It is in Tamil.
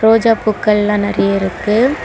ரோஜா பூக்கள் எல்லாம் நிறைய இருக்கு.